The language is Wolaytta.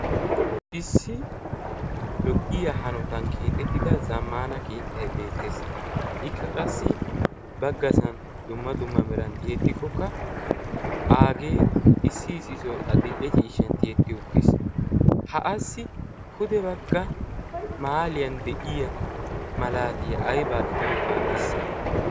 issi lo'iya hanotan keexettida zammana keettai beettees. ikka qassi baggasan dumma dumma merantti hettikkokka aagee issi isisoi a dil'e ciishshan tiyetti uttiis ha assi pude bagga maaliyan de'iya malaatiya aibaa gidiyoogaa bessa?